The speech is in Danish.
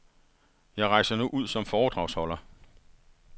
Jeg rejser nu ud som foredragsholder.